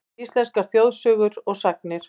Íslenskar þjóðsögur og sagnir.